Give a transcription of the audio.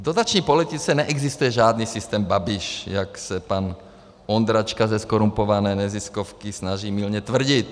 V dotační politice neexistuje žádný systém Babiš, jak se pan Ondráčka ze zkorumpované neziskovky snaží mylně tvrdit.